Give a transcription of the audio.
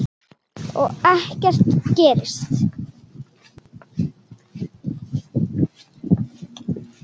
Og ekkert gerist.